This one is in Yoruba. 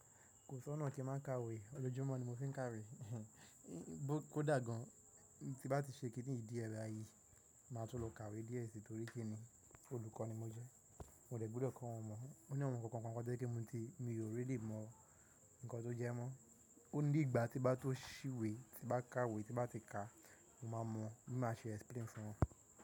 Kò sọ́nà kí n má ka ìwé, ọlọ́jọ́mọ́ ni mo fi ń ka ìwé. Kó dà gan, tí bá ti ṣe kínní yì dì ẹ bayìí, máa tún lọ ka ìwé díẹ̀ si torí kí ni? Olùkọ́ ni mo jẹ́. Mo dẹ̀ gbúdọ̀ kọ́ wọn mọ̀. Ó ní awon kan kan to jẹ́ pé mo ti Mi ò ríli mọ nnkan tó jẹ́ mọ́. Ó ní ìgbà tí bá tó ṣí ìwé, tí bá ka ìwé, tí bá ti ka, mo máa mọ̀, mo máa ṣe explain fún wọn.